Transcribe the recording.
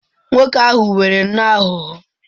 Nwoke ahụ nwere nnọọ aghụghọ.